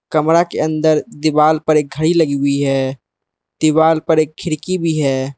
कमरा के अंदर दीवाल पर एक घड़ी लगी हुई है दीवाल पर एक खिड़की भी है।